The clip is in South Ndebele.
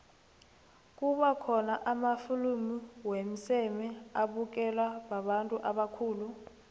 kuba khona namafilimu womseme abukelwa babantu ubakhulu